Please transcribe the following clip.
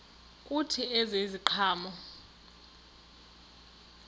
kuthi ezi ziqhamo